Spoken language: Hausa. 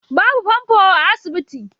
Babu fanfo a asibiti